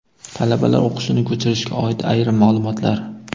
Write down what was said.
Talabalar o‘qishini ko‘chirishga oid ayrim maʼlumotlar.